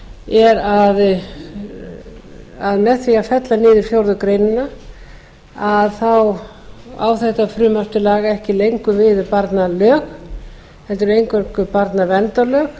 er að með því að fella niður fjórðu grein á þetta frumvarp til laga ekki lengur við um barnalög heldur eingöngu